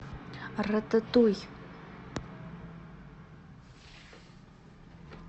рататуй